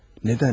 Nədən?